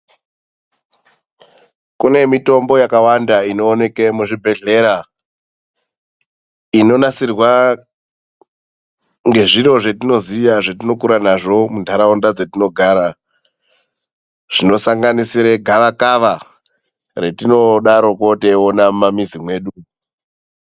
Kune mitombo yakawanda inoonekwe muzvibhedhlera inonasirwa ngezviro zvatinoziya zvetinokura nazvo munharaunda dzatinogara zvinosanganisira gava kava retinodaroko teiona mumamizi medu .